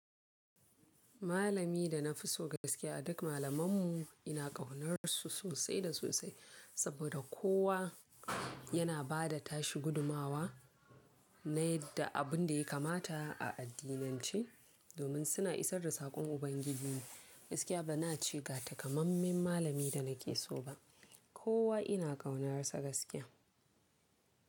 Malami da na fi so gaskiya a duk malamanmu ina ƙaunarsu sosai da sosai, saboda kowa yana ba da tashi gudunmawa na yadda abin da ya kamata a addinance domin suna isar da saƙon Ubangiji ne. Gaskiya bana ce ga takamaiman malami da na ke so ba. Kowa ina ƙaunarsa gaskiya.